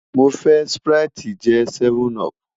Mo fẹ sprite je 7up